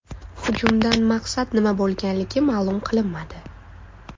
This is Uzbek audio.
Hujumdan maqsad nima bo‘lganligi ma’lum qilinmadi.